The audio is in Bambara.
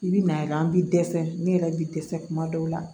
I bi na ye an bi dɛsɛ ne yɛrɛ bi dɛsɛ kuma dɔw la